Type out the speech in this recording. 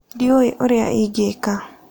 Ndiũĩ ũrĩa ingĩka